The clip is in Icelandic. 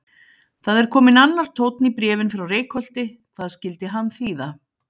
Það er kominn annar tónn í bréfin frá Reykholti, hvað skyldi hann þýða?